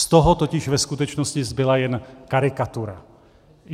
Z toho totiž ve skutečnosti zbyla jen karikatura.